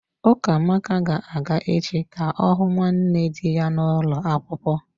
Ukamaka ga-aga echi ka ọ hụ nwanne dị ya n'ulo akwukwo.